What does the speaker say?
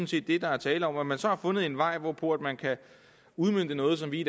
set det der er tale om at man så har fundet en vej hvorpå man kan udmønte noget som vi i